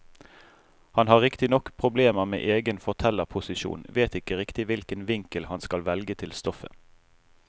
Han har riktignok problemer med egen fortellerposisjon, vet ikke riktig hvilken vinkel han skal velge til stoffet.